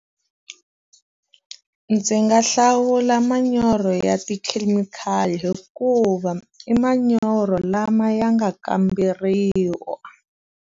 Ndzi nga hlawula manyoro ya tikhemikhali hikuva i manyoro lama ya nga kamberiwa.